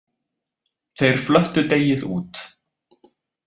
Þeir flöttu deigið út.